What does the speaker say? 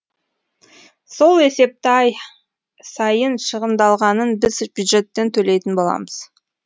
сол есепті ай сайын шығындалғанын біз бюджеттен төлейтін боламыз